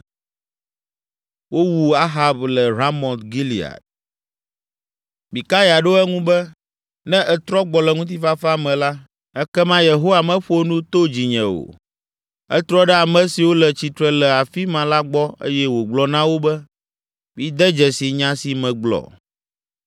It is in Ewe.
Mikaya ɖo eŋu be, “Ne ètrɔ gbɔ le ŋutifafa me la, ekema Yehowa meƒo nu to dzinye o.” Etrɔ ɖe ame siwo le tsitre le afi ma la gbɔ eye wògblɔ na wo be, “Mide dzesi nya si megblɔ.”